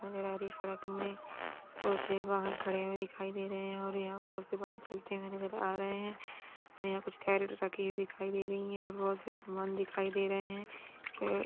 यहाँ पर सड़क में कुछ वाहन खड़े हुये दिखाई दे रहे है और यहाँ पर बहुत सारे वाहन चलते हुये नज़र आ रहे है यहाँ कुछ केरेट रखी हुई दिखाय दे रही है और बहुत से सामान दिख दे रहे है अ --